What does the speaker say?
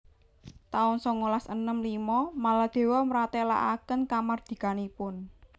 taun songolas enem limo Maladewa mratélakaken kamardikanipun